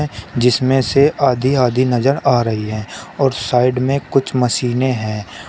जिसमें से आधी आधी नजर आ रही है और साइड में कुछ मशीनें हैं।